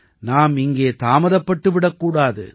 நாம் இங்கே தாமதப்பட்டு விடக் கூடாது